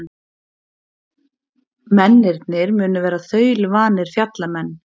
Mennirnir munu vera þaulvanir fjallamenn